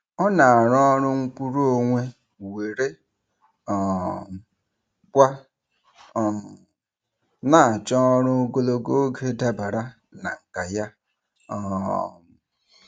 Ọ na-arụ ọrụ nkwuruonwe were um kwa um na-achọ ọrụ ogologo oge dabara na nkà ya. um